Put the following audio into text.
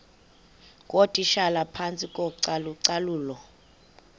ngootitshala phantsi kocalucalulo